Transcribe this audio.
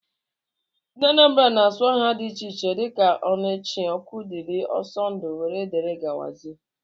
Ndị Anambra na-aza aha dị iche iche dika Onochie, Okwudili, Ọsọndụ wdg.